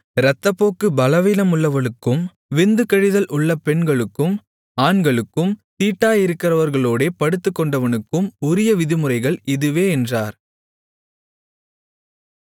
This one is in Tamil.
இரத்தப்போக்கு பலவீனமுள்ளவளுக்கும் விந்து கழிதல் உள்ள பெண்களுக்கும் ஆண்களுக்கும் தீட்டாயிருக்கிறவளோடே படுத்துக்கொண்டவனுக்கும் உரிய விதிமுறைகள் இதுவே என்றார்